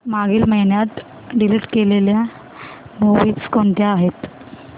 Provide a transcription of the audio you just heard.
मागील महिन्यात डिलीट केलेल्या मूवीझ कोणत्या होत्या